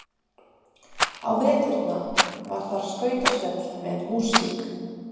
Á veturna var þar skautasvell með músík.